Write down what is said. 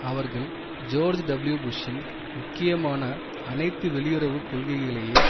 அவர்கள் George W புஷ்ஷின் முக்கியமான அனைத்து வெளியுறவு கொள்கைகளையே